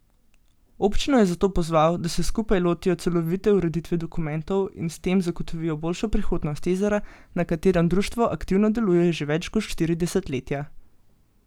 Občino je zato pozval, da se skupaj lotijo celovite ureditve dokumentov in s tem zagotovijo boljšo prihodnost jezera, na katerem društvo aktivno deluje že več kot štiri desetletja.